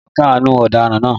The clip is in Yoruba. Adájọ́ náà káàánú ọ̀daràn náà